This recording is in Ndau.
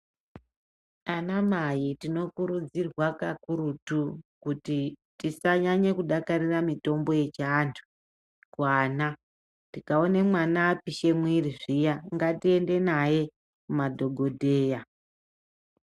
Anamai tinokurudzirwa kakurutu kuti tisanyanye kudakarira mitombo yechiantu kuana. Tikaone mwana apisha muiri zviya ngatiende naye kumadhogodheya.